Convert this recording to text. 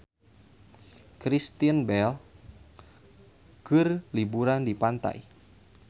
Kristen Bell keur liburan di pantai